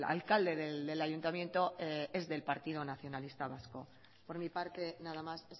alcalde del ayuntamiento es del partido nacionalista vasco por mi parte nada más